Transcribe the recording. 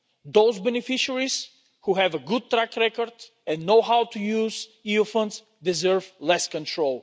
Those beneficiaries who have a good track record and know how to use EU funds deserve less control.